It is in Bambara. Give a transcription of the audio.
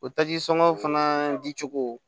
O taji sɔngɔn fana dicogo